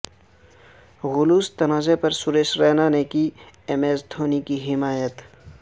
gloves تنازع پر سریش رینا نے کی ایم ایس دھونی کی حمایت